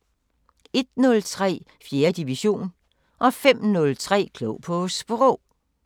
01:03: 4. division 05:03: Klog på Sprog